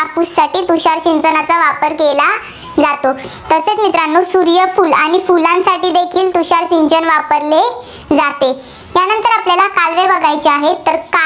साठी तुषार सिंचनाचा वापर केला जातो. तसेच मित्रांनो सूर्यफूल आणि फुलांसाठीपण तुषार सिंचन वापरले जाते. त्यानंतर आपल्याला काय बघायचे आहे तर?